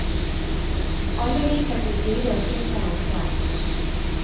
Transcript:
Alle viker til side og slipper ham frem.